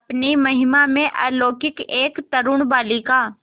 अपनी महिमा में अलौकिक एक तरूण बालिका